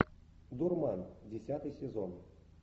дурман десятый сезон